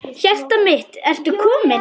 Hjartað mitt, ertu kominn?